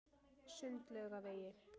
Sundlaugavegi